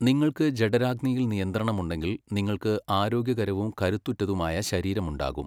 നിങ്ങൾക്ക് ജഠരാഗ്നിയിൽ നിയന്ത്രണം ഉണ്ടെങ്കിൽ നിങ്ങൾക്ക് ആരോഗ്യകരവും കരുത്തുറ്റതുമായ ശരീരമുണ്ടാകും.